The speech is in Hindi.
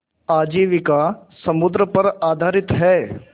आजीविका समुद्र पर आधारित है